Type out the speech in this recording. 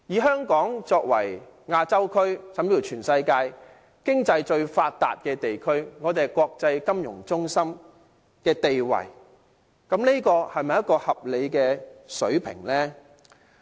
香港作為亞洲甚至是全世界經濟最發達的地區，擁有國際金融中心的地位，這是否一個合理的水平呢？